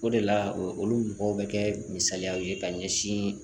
O de la olu mɔgɔw bɛ kɛ misaliyaw ye ka ɲɛsin